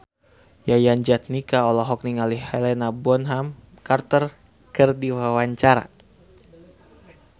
Yayan Jatnika olohok ningali Helena Bonham Carter keur diwawancara